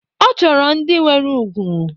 Ọ chọrọ ndị nwere ùgwù